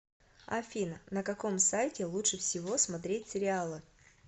афина на каком сайте лучше всего смотреть сериалы